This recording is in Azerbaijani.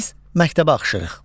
Biz məktəbə axışırıq.